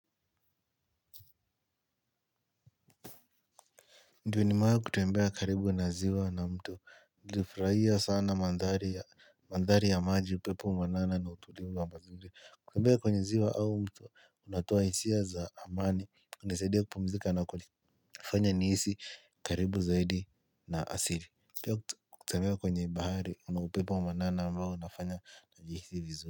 Ndio nimewai kutembea karibu na ziwa na mto nilifurahia sana mandhari ya maji, upepo mwanana na utulivu wa mazingira, kutembea kwenye ziwa au mto kunatoa hisia za amani inasaidia kupumzika na kunifanya nihisi karibu zaidi na asili. Kutembea kwenye bahari kuna upepo wa manana ambao unafanya nijihisi vizuri.